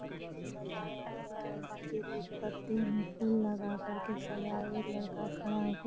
पोधे से सजाया गया है नीचे कुछ पत्ते में फूल लगा कर के सजाए एक लड़का खड़ा होकर --